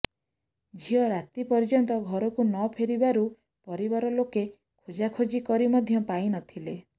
ଝିଅ ରାତି ପର୍ଯ୍ୟନ୍ତ ଘରକୁ ନ ଫେରିବାରୁ ପରିବାର ଲୋକେ ଖୋଜାଖୋଜି କରି ମଧ୍ୟ ପାଇ ନଥିଲେ